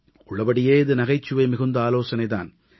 உள்ளபடியே இது நகைச்சுவை மிகுந்த ஆலோசனை தான்